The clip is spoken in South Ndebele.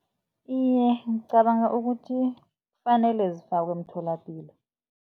Iye, ngicabanga ukuthi kufanele zifakwe emtholapilo.